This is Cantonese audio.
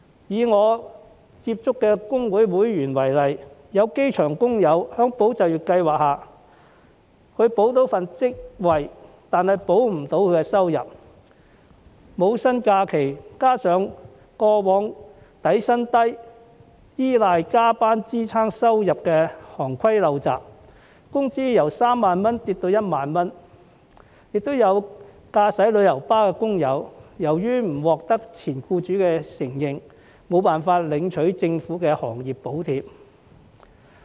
以我接觸的工會會員為例，有機場工友在"保就業"計劃下，可保住職位，卻保不住收入，因為要放取無薪假期，加上過往因底薪低而要依賴加班支撐收入的行規陋習，其工資由3萬元下跌至1萬元；亦有駕駛旅遊巴的工友，由於不獲前僱主承認，無法領取政府的行業補貼。